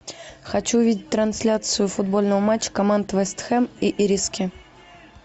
хочу увидеть трансляцию футбольного матча команд вест хэм и ириски